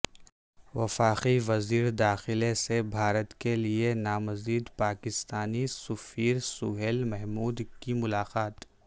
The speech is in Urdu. وفاقی وزیرداخلہ سے بھارت کے لئے نامزد پاکستانی سفیر سہیل محمود کی ملاقات